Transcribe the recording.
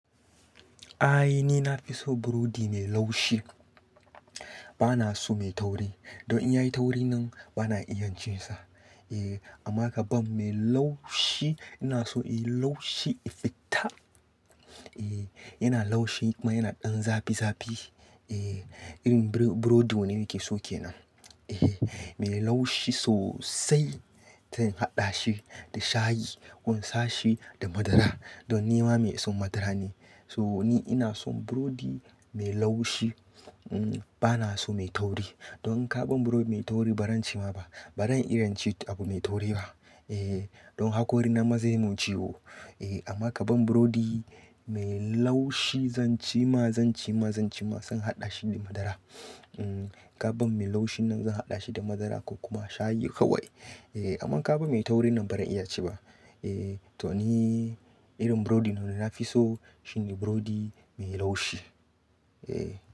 Ai, ni na fi so burodi mai laushi, ba na so mai tauri. Don in ya yi tauri nan ba na iya cin sa. Eh, amma kaban mai laushi ina so in yi laushi, ya fita. Eh, yana laushi kuma yana ɗan zafi zafi. Eh, irin burodi wanne nake so ke nan. Eh, mai laushi sosai sai in haɗa shi da shayi ko in sashi da madara. Don ni ma mai son madara ne. To ni ina son burodi mai laushi, um ba na so mai tauri. Don in kaban burodi mai tauri ba ran ci ma ba. Ba zan iya cin abu mai tauri ba. Eh, don hakori na ma zai yi mun ciwo. Eh, amma kaban burodi mai laushi zan ci ma, zan ci ma, zan ci ma, zan haɗa shi da madara. Um Kaban mai laushni nan zan haɗa shi da madara ko kuma shayi kawai. Eh, amma kaban mai tauri nan ba zan iya ci ba. Eh, to ni irin burodi na wanda na fi so shine burodi mai laushi. Eh.